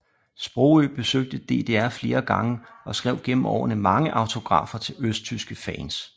Sprogøe besøgte DDR flere gange og skrev gennem årene mange autografer til østtyske fans